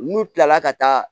N'u kilala ka taa